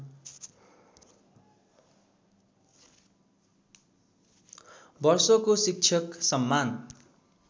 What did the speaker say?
वर्षको शिक्षक सम्मान